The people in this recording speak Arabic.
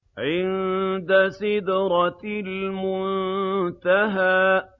عِندَ سِدْرَةِ الْمُنتَهَىٰ